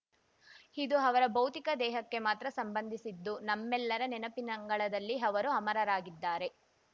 ಇದು ಅವರ ಭೌತಿಕ ದೇಹಕ್ಕೆ ಮಾತ್ರ ಸಂಬಂಧಿಸಿದ್ದು ನಮ್ಮೆಲ್ಲರ ನೆನಪಿನಂಗಳದಲ್ಲಿ ಅವರು ಅಮರರಾಗಿದ್ದಾರೆ